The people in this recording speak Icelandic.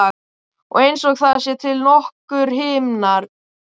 Og einsog það séu til nokkrir himnar.